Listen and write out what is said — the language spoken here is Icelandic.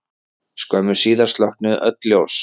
Skömmu síðar slokknuðu öll ljós.